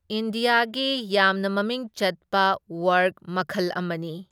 ꯏꯟꯗꯤꯌꯥꯒꯤ ꯌꯥꯝꯅ ꯃꯃꯤꯡ ꯆꯠꯄ ꯋꯥ꯭ꯔꯛ ꯃꯈꯜ ꯑꯃꯅꯤ꯫